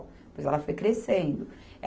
Depois ela foi crescendo.